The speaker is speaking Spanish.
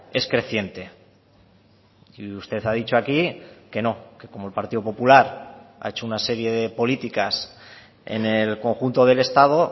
es creciente y usted ha dicho aquí que no que como el partido popular ha hecho una serie de políticas en el conjunto del estado